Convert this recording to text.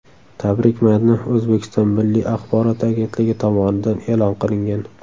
Tabrik matni O‘zbekiston Milliy axborot agentligi tomonidan e’lon qilingan .